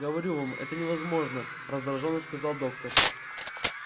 говорю вам это невозможно раздражённо сказал доктор